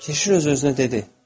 Keşiş öz-özünə dedi: